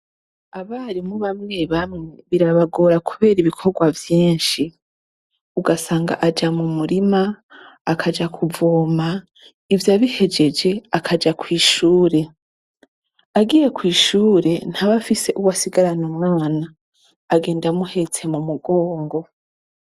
Abarimu bamwe bamwe birabagora kubera ibikorwa vyinshi, ugasanga aja mu murima, akaja kuvoma, ivyo abihejeje akaja kw’ishure. Agiye kw’ishure ntaba afise uwasigarana umwana, agenda amuhetse mu mugongo.